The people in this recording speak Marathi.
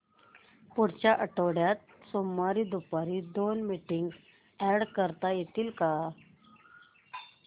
पुढच्या आठवड्यात सोमवारी दुपारी दोन मीटिंग्स अॅड करता येतील का